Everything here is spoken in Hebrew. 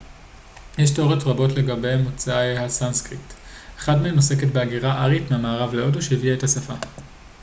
יש תיאוריות רבות לגבי מוצא הסנסקריט אחת מהן עוסקת בהגירה ארית מהמערב להודו שהביאה את השפה